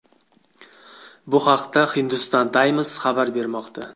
Bu haqda Hindustan Times xabar bermoqda .